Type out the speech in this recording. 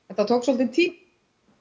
þetta tók svolítinn tíma